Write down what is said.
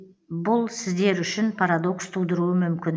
бұл сіздер үшін парадокс тудыруы мүмкін